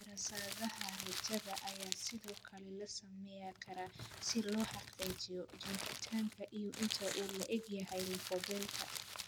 Daraasadaha raajada ayaa sidoo kale la samayn karaa si loo xaqiijiyo joogitaanka iyo inta uu le'eg yahay lafo-beelka.